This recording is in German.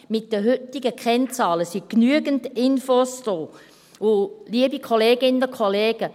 Mit den heutigen Kennzahlen sind genügend Infos vorhanden.